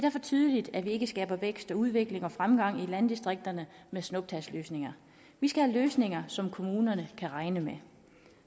tydeligt at vi ikke skaber vækst og udvikling og fremgang i landdistrikterne med snuptagsløsninger vi skal have løsninger som kommunerne kan regne med